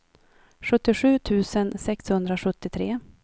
sjuttiosju tusen sexhundrasjuttiotre